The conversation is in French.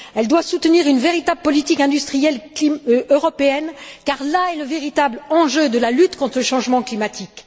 Elle doit soutenir une véritable politique industrielle européenne car là est le véritable enjeu de la lutte contre le changement climatique.